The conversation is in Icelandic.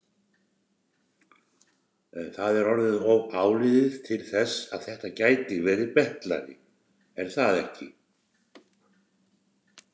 Það er orðið of áliðið til þess að þetta gæti verið betlari, er það ekki?